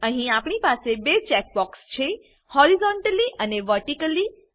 અહી આપણી પાસે બે ચેક બોક્ક્ષ છે હોરિઝોન્ટલી અને વર્ટિકલી